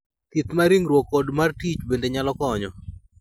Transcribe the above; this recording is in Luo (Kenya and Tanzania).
Thieth mar ringruok kod mar tich bende nyalo konyo.